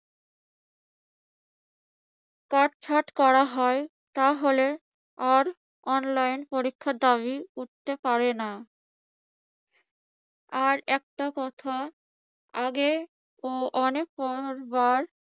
কাটছাঁট করা হয়, তাহলে আর online পরীক্ষার দাবি উঠতে পারে না। আর একটা কথা আগে অনেক বার